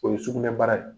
O ye sugunɛbara ye